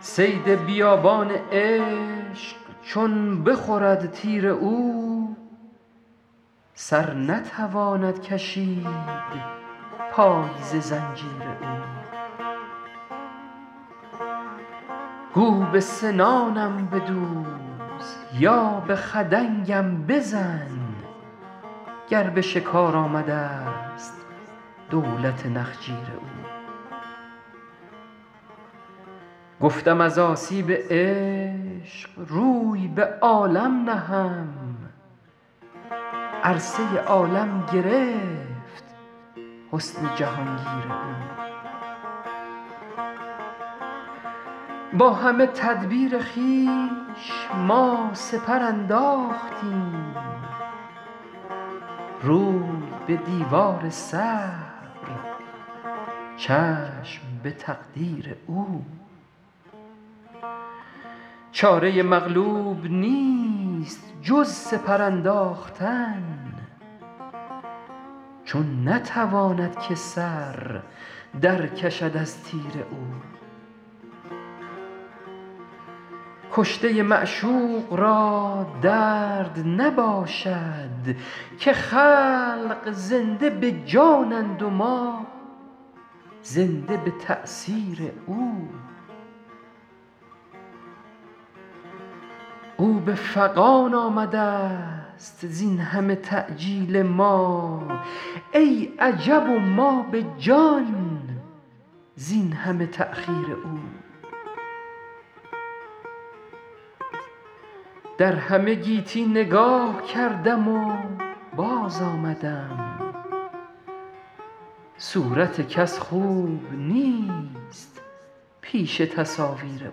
صید بیابان عشق چون بخورد تیر او سر نتواند کشید پای ز زنجیر او گو به سنانم بدوز یا به خدنگم بزن گر به شکار آمده ست دولت نخجیر او گفتم از آسیب عشق روی به عالم نهم عرصه عالم گرفت حسن جهان گیر او با همه تدبیر خویش ما سپر انداختیم روی به دیوار صبر چشم به تقدیر او چاره مغلوب نیست جز سپر انداختن چون نتواند که سر در کشد از تیر او کشته معشوق را درد نباشد که خلق زنده به جانند و ما زنده به تأثیر او او به فغان آمده ست زین همه تعجیل ما ای عجب و ما به جان زین همه تأخیر او در همه گیتی نگاه کردم و باز آمدم صورت کس خوب نیست پیش تصاویر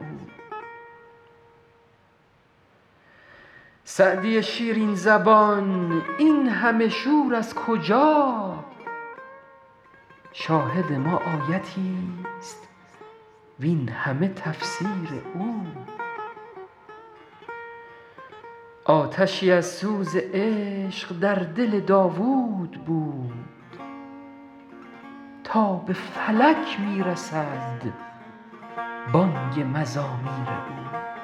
او سعدی شیرین زبان این همه شور از کجا شاهد ما آیتی ست وین همه تفسیر او آتشی از سوز عشق در دل داوود بود تا به فلک می رسد بانگ مزامیر او